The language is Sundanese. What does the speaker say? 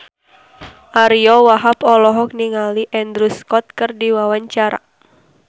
Ariyo Wahab olohok ningali Andrew Scott keur diwawancara